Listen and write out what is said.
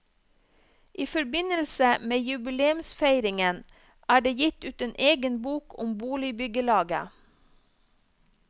I forbindelse med jubileumsfeiringen er det gitt ut en egen bok om boligbyggelaget.